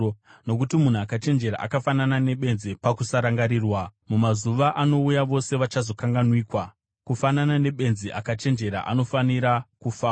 Nokuti munhu akachenjera akafanana nebenzi pakusarangarirwa; mumazuva anouya vose vachazokanganwikwa. Kufanana nebenzi, akachenjera anofanira kufawo!